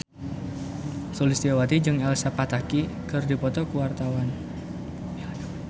Sulistyowati jeung Elsa Pataky keur dipoto ku wartawan